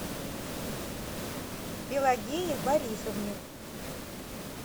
пелагее борисовне